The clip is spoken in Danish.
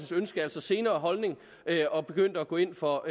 ønske altså senere holdning og begyndte at gå ind for